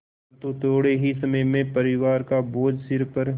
परन्तु थोडे़ ही समय में परिवार का बोझ सिर पर